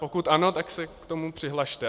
Pokud ano, tak se k tomu přihlaste.